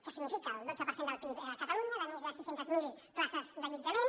que significa el dotze per cent del pib a catalunya de més de sis cents miler places d’allotjament